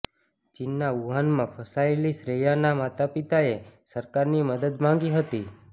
ચીનના વુહાનમાં ફસાયેલી શ્રેયાના માતાપિતાએ સરકારની મદદ માંગી હતી